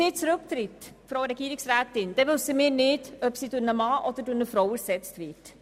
Wenn Frau Regierungsrätin Egger zurücktritt, wissen wir nicht, ob sie durch einen Mann oder durch eine Frau ersetzt wird.